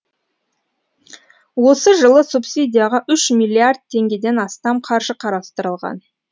осы жылы субсидияға үш миллиард теңгеден астам қаржы қарастырылған